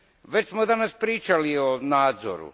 Već smo danas pričali o nadzoru.